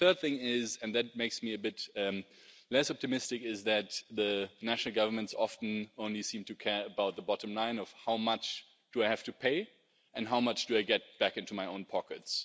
The third thing is and this makes me a bit less optimistic that the national governments often seem only to care about the bottom line of how much they have to pay and how much they get back into their own pockets.